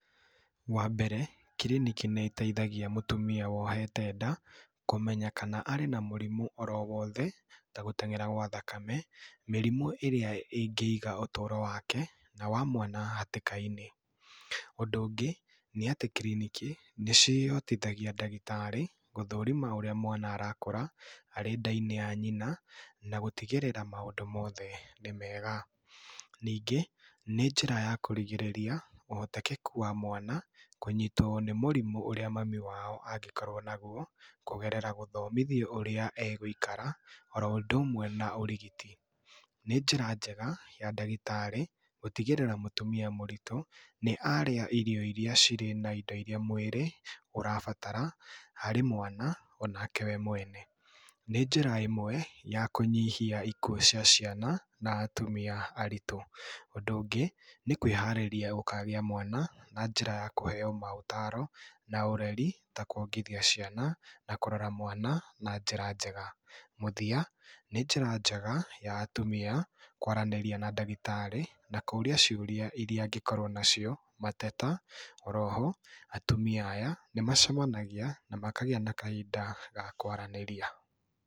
Wa mbere clinic nĩ ĩteithagia mũtumia wohete nda kũmenya kana arĩ na mũrimũ, ta gũtengera gwa thakame, mĩrimũ ĩrĩa ĩngĩiga ũtũro wake na wa mwana hatĩka-inĩ. Ũndũ ũngĩ nĩ atĩ clinic nĩ citeithagia ndagĩtarĩ gũthũrima ũrĩa mwana arakũra arĩ nda-inĩ ya nyina na gũtigĩrĩra maũndũ mothe nĩ mega. Ningĩ nĩ njĩra ya kũrigirĩria ũhotekeku wa mwana kũnyitwo kwa mwana nĩ mũrimũ ũrĩa mami wao angĩkorwo naguo, kũgerera gũthomithio ũrĩa egũikara oro ũndũ ũmwe na ũrigiti. Nĩ njĩra njega ya ndagĩtarĩ gũtigĩrĩra mũtumia mũritũ nĩ arĩa irio irĩa cirĩ na indo irĩa mwĩrĩ ũrabatara harĩ mwana onake we mwene. Nĩ njĩra ĩmwe ya kũnyihia ikuo cia ciana na atumia aritũ. Ũndũ ũngĩ nĩ kwĩharĩria gũkagĩa mwana na njĩra ya kũheo maũtaro na ũreri ta kuongithia ciana na kũrora mwana na njĩra njega. Mũthia nĩ njĩra njega ya atumia kwaranĩria na ndagĩtarĩ na kũria ciũria irĩa angĩkorwo nacio, mateta. Oro ho atumia aya nĩ macemanagia na makagĩa na kahinda ga kwaranĩria.